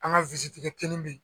An ga kini be yen